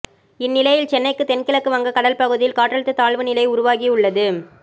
இந்நிலையில் சென்னைக்கு தென் கிழக்கு வங்க கடல் பகுதியில் காற்றழுத்த தாழ்வு நிலை உருவாகி உள்ளது